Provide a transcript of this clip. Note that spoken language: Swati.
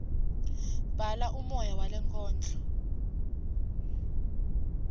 bhala umoya walenkondlo